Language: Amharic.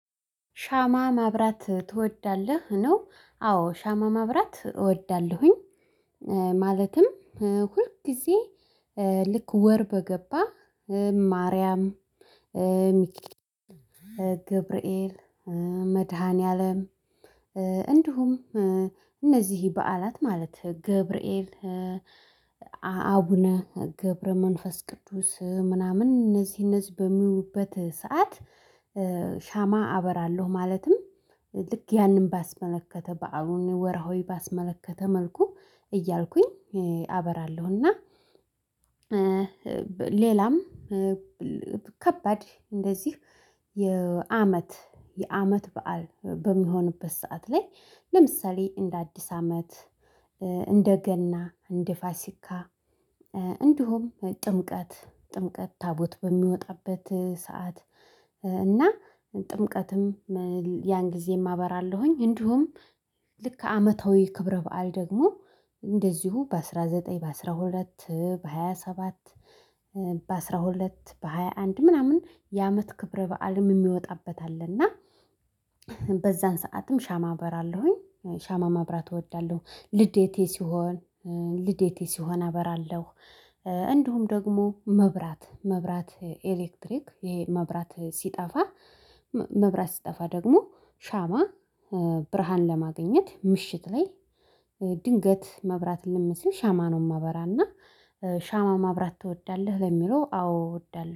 ሻማ ማብራት ትወዳለህ ነው? አዎ ሻማ ማብራት እወዳለሁኝ። ማለትም ሁል ጊዜ ልክ ወር በገባ ማርያም። ገብርኤል መድኃኒዓለም። እንዲሁም እነዚህ በዓላት ማለት ገብርኤል። አቡነ ገብረ መንፈስ ቅዱስ ምናምን እነዚህ እነዚህ በሚውሉበት ሰዓት። ሻማ አበራለሁ ማለትም። ልክ ያንን ባስመለከተ በዓሉን ወርሃዊ ባስመለከተ መልኩ እያልኩኝ አበራለሁ። እና። ሌላም ከባድ እንደዚህ የአመት የአመት በዓል በሚሆንበት ሰዓት ላይ ለምሳሌ እንደ አዲስ አመት። እንደ ገና እንደ ፋሲካ። እንዲሁም ጥምቀት ታቦት በሚወጣበት ሰዓት። እና ጥምቀትም ያን ጊዜም አበራለሁኝ። እንዲሁም ልክ አመታዊ ክብረ በዓል ደግሞ እንደዚሁ በአሥራ ዘጠኝ በአሥራ ሁለት በሃያ ሰባት። በአሥራ ሁለት በሃያ አንድ ምናምን የአመት ክብረ በዓልም የሚወጣበት አለና በዛን ሰዓትም ሻማ አበራለሁኝ። ሻማ ማብራት እወዳለሁ ልደቴ ሲሆን ልዴቴ ሲሆን አበራለሁ። እንዲሁም ደግሞ መብራት መብራት ኤሌክትሪክ ይሄ መብራት ሲጠፋ መብራት ሲጠፋ ደግሞ ሻማ ብርሃን ለማግኘት ምሽት ላይ። ድንገት መብራት እልም ሲል ሻማ ነው የማበራና። ሻማ ማብራት ትወዳለህ? ለሚለው አዎ እወዳለሁ